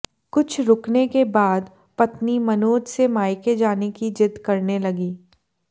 कुछ रुकने के बाद पत्नी मनोज से मायके जाने की जिद करने लगी